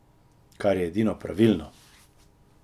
Kar je edino pravilno!